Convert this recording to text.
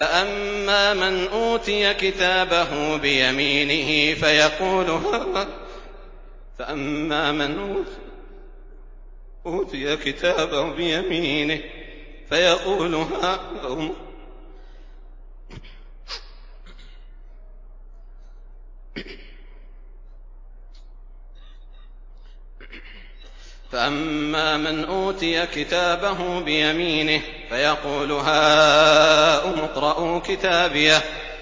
فَأَمَّا مَنْ أُوتِيَ كِتَابَهُ بِيَمِينِهِ فَيَقُولُ هَاؤُمُ اقْرَءُوا كِتَابِيَهْ